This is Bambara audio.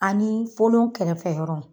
Ani olon kɛrɛfɛ yɔrɔ.